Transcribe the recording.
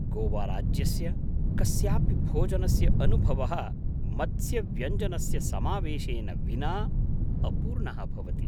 गोवाराज्यस्य कस्यापि भोजनस्य अनुभवः मत्स्यव्यञ्जनस्य समावेशेन विना अपूर्णः भवति।